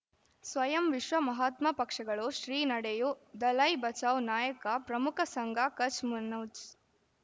ಸ್ವಯಂ ವಿಶ್ವ ಮಹಾತ್ಮ ಪಕ್ಷಗಳು ಶ್ರೀ ನಡೆಯೂ ದಲೈ ಬಚೌ ನಾಯಕ ಪ್ರಮುಖ ಸಂಘ ಕಚ್ ಮನೋಜ್